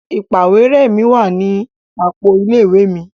Ìpàwérẹ́ mi wa ni àpò ilé ìwé mi.